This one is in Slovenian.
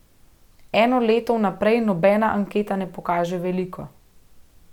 Eno leto vnaprej nobena anketa ne pokaže veliko.